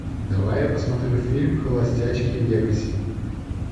давай я посмотрю фильм холостячки в вегасе